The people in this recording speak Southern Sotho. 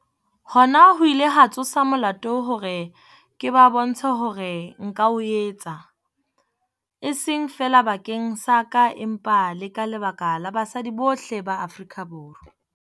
Hona ho ile ha ntsosa molota hore ke ba bontshe hore nka o etsa, e seng feela bakeng sa ka empa le ka lebaka la basadi bohle ba Afrika Borwa.